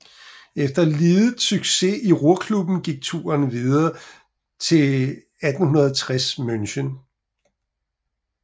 Efter lidet succes i Ruhrklubben gik turen videre til 1860 München